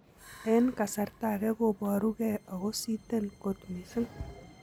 en kasarta age koporu ge agositen kot missing.